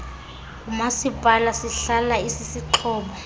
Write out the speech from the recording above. ngumasipala sihlala isisixhobo